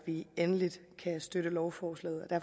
vi endelig kan støtte lovforslaget og